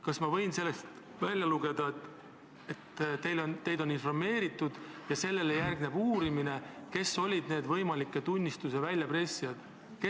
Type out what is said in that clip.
Kas ma võin sellest välja lugeda, et teid on informeeritud, kes olid need võimalike tunnistuste väljapressijad, ja sellele järgneb uurimine?